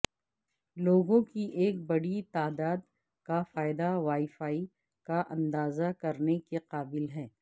لوگوں کی ایک بڑی تعداد کا فائدہ وائی فائی کا اندازہ کرنے کے قابل ہیں